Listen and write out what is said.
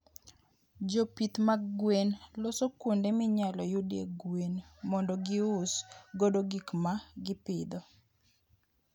Jopith mag gwen loso kuonde minyalo yudie gwen mondo gius godo gik ma gipidho.